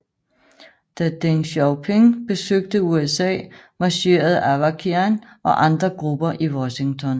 Da Deng Xiaoping besøgte USA marcherede Avakian og andre grupper i Washington